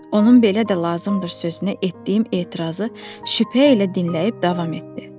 Onun “belə də lazımdır” sözünə etdiyim etirazı şübhə ilə dinləyib davam etdi.